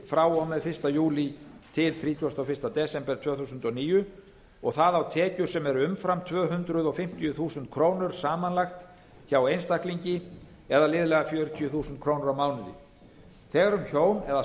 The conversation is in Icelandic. frá og með fyrsta júlí til þrítugasta og fyrsta desember tvö þúsund og níu og það á tekjur sem eru umfram tvö hundruð fimmtíu þúsund krónur samanlagt hjá einstaklingi eða liðlega fjörutíu þúsund krónur á mánuði þegar um hjón eða